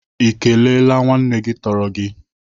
Ị kelele nwanne gị tọrọ gị?